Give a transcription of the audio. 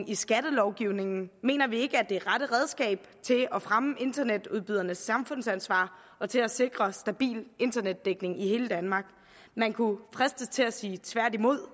i skattelovgivningen mener vi ikke er det rette redskab til at fremme internetudbydernes samfundsansvar og til at sikre stabil internetdækning i hele danmark man kunne fristes til at sige tværtimod